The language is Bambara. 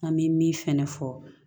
An bɛ min fɛnɛ fɔ